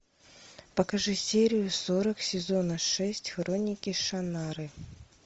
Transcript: покажи серию сорок сезона шесть хроники шаннары